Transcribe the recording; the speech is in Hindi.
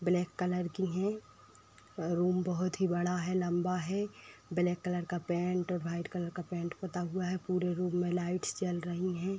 ब्लैक कलर की हैं। रूम बहुत ही बड़ा है लंबा है ब्लैक कलर का पेंट व्हाइट कलर का पेंट पता हुआ है। पूरे रूम में लाइट्स जल रही हैं।